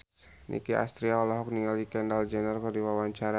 Nicky Astria olohok ningali Kendall Jenner keur diwawancara